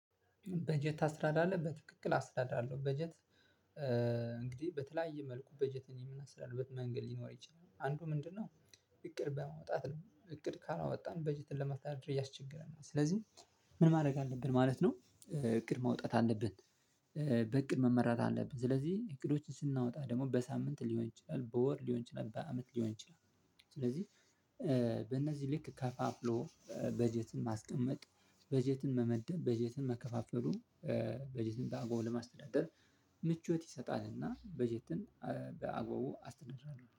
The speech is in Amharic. በጀት ታስራዳለህ በትክክል አስተዳድራለሁ በጀት። እንግዲህ በተለያየ መልኩ በጀትን የምናስተዳድርበት መንገድ ሊኖር ይችላል አንዱ ምንድነው? እቅድ በማውጣት ነው እቅድ ካላወጣን በጀትን ለማስተዳደር ያስቸገረናል ስለዚህ ምን ማድረግ አለብን ማለት ነው። እቅድ ማውጣት አለብን። በእቅድ መመራት አለብን ስለዚህ እቅዶችን ስናወጣ ደግሞ በሳምንት ሊሆን ይችላል በወር ሊሆን ይችላል በአመት ሊሆን ይችላል። ስለዚህ ልክ ከፋፍሎ በጀትን ማስቀመጥ በጀትን መመደብ በጀትን መከፋፈሉ በጀትን በአግባቡ ለማስተዳደር። ምቾት ይሰጣልና በጀትን በአግባቡ አስተዳድራለሁ